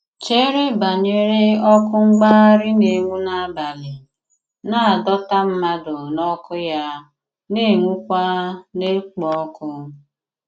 Chere banyere ọkụ̀ mgbagharị na-enwu n’abalị, na-adọta mmadụ n’ọkụ́ ya na-enwùkwà na-ekpo ọkụ.